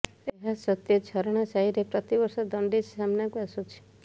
ଏହା ସତ୍ତ୍ବେ ଝରଣା ସାହିରେ ପ୍ରତିବର୍ଷ ଜଣ୍ଡିସ୍ ସାମ୍ନାକୁ ଆସୁଛି